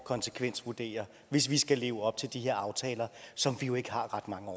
konsekvensvurdere hvis vi skal leve op til de her aftaler som vi jo ikke har ret mange